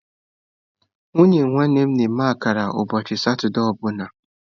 Nwunye nwanne m na-eme akara ụbọchị Satọde ọ bụla